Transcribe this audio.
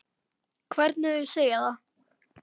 Hvernig þau segja það.